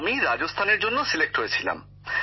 আমি রাজস্থানের জন্য সিলেক্ট হয়েছিলাম